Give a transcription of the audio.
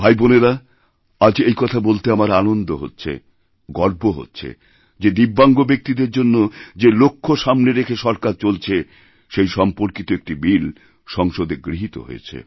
বোনেরা আজ এই কথা বলতে আমার আনন্দহচ্ছে গর্ব হচ্ছে যে দিব্যাঙ্গ ব্যক্তিদের জন্য যে লক্ষ সামনে রেখে সরকার চলছেসেই সম্পর্কিত একটি বিল সংসদে গৃহীত হয়েছে